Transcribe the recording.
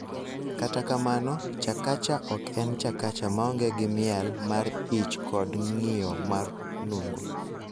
Kata kamano, Chakacha ok en Chakacha maonge gi miel mar ich kod ng�iyo mar nungo.